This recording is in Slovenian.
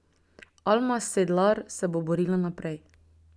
Alma Sedlar se bo borila naprej.